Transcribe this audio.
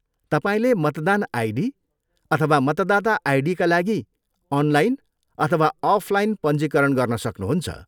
तपाईँले मतदान आइडी अथवा मतदाता आइडीका लागि अनलाइन अथवा अफलाइन पञ्जीकरण गर्न सक्नुहुन्छ।